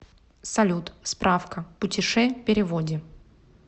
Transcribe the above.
салют справка путеше переводе